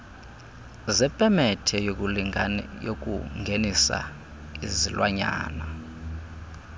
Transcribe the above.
zepemethe yokungenisa izilwanyana